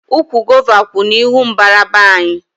Ụkwụ gova kwú n'ihu mbara be anyị